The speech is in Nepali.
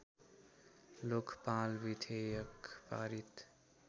लोकपाल विधेयक पारित